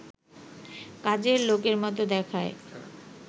কাজের লোকের মতো দেখায়